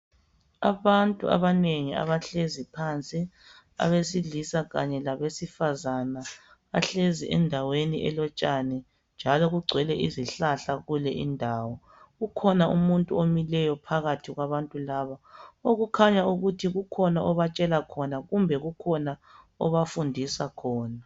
Abantu abanengi abahlezi phansi abesilisa kanye labesifazana bahlezi endaweni elotshani njalo kugcwele izihlahla kule indawo ukhona umuntu omileyo phakathi kwabantu laba okukhanya ukuthi kukhona obatshela khona kumbe kukhona obafundisa khona.